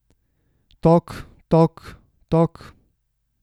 Tok, tok, tok.